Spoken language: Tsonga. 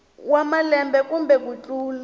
wa malembe kumbe ku tlula